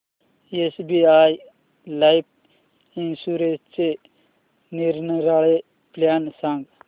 SBI life इन्शुरन्सचे निरनिराळे plan सांग